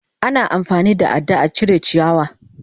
Ana amfani da ada a cire ciyawa.